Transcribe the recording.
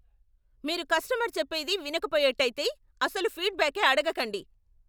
మీరు కస్టమర్ చెప్పేది వినకపోయేట్టయితే, అసలు ఫీడ్బ్యాకే అడగకండి.